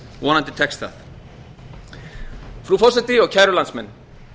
vonandi tekst það frú forseti og kæru landsmenn